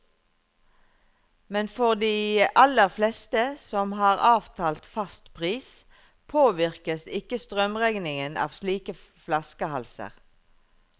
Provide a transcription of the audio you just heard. Men for de aller fleste, som har avtalt fast pris, påvirkes ikke strømregningen av slike flaskehalser.